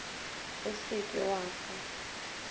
o se ke wa fa